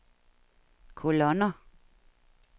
kolonner